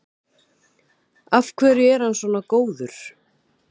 Af hverju er hann svona góður?